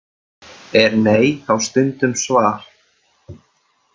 Er nei þá stundum svar?